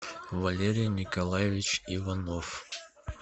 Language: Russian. валерий николаевич иванов